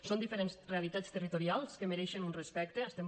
són diferents realitats territorials que mereixen un respecte